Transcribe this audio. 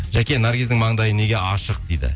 жаке наргиздің маңдайы неге ашық дейді